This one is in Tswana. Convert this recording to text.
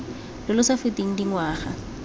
lo lo sa feteng dingwaga